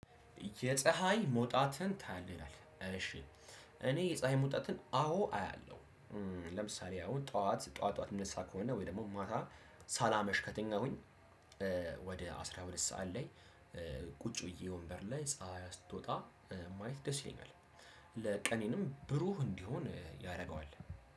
የፀሀይ መውጣትን ታያለህ? ይላል እሺ እኔ የፀሀይ መውጣትን አዎ አያለሁ። ለምሳሌ አሁን ጠዋት ጠዋት ጠዋት እምነሳ ከሆነ ወይ ደግሞ ማታ ሳላመሽ ከተኛሁኝ። ወደ አስራ ሁለት ሰዓት ላይ ቁጭ ብዬ ወንበር ላይ ፀሀይ ስቶጣ። ማየት ደስ ይለናል። ለቀኔንም ብሩህ እንዲሆን ያደርገዋል።